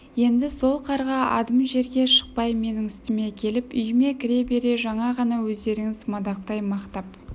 енді сол қарға адым жерге шықпай менің үстіме келіп үйіме кіре бере жаңа ғана өздеріңіз мадақтай мақтап